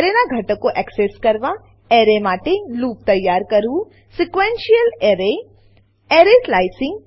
એરેનાં ઘટકો એક્સેસ કરવા એરે માટે લૂપ તૈયાર કરવું sequential array array slicing slicing